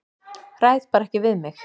Ræð bara ekki við mig.